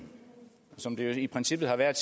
og som det jo i princippet har været